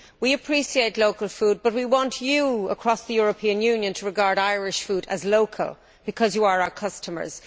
We appreciate local food but we want you across the European Union to regard Irish food as local because you are our customers.